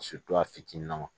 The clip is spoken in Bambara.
a fitininnama